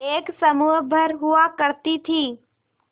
एक समूह भर हुआ करती थी